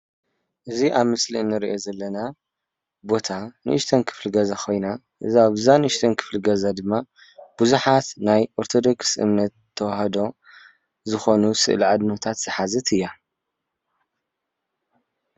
እዚ ኣብ ምስሊ ንሪኦ ዘለና ቦታ ንእሽተን ክፍሊ ገዛ ኮይና እዛ ንእሽተን ክፍሊ ገዛ ድማ ብዙሓት ናይ ኦርቶዶክስ እምነት ተዋህዶ ዝኾኑ ስእሊ ኣብነታት ዝሓዘት እያ ።